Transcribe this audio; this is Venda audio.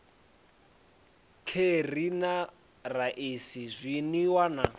kheri na raisi zwinwiwa na